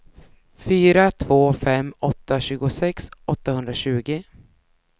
fyra två fem åtta tjugosex åttahundratjugo